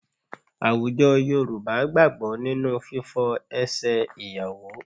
Àwùjọ Yorùbá gbàgbọ́ nínú fífọ ẹsẹ̀ ìyàwó